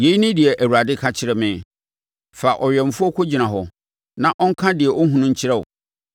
Yei ne deɛ Awurade ka kyerɛ me: “Fa ɔwɛmfoɔ kɔgyina hɔ na ɔnka deɛ ɔhunu nkyerɛ wo.